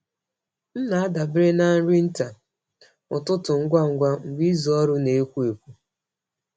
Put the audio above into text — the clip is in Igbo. M na-adabere na nri nta ụtụtụ ngwa ngwa mgbe izu ọrụ na-ekwo ekwo.